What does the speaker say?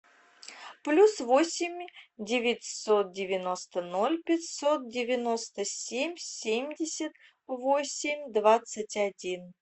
плюс восемь девятьсот девяносто ноль пятьсот девяносто семь семьдесят восемь двадцать один